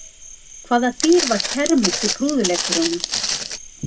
Hvaða dýr var kermit í prúðuleikurunum?